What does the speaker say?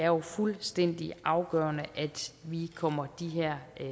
jo er fuldstændig afgørende at vi kommer de her